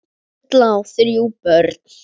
Erla á þrjú börn.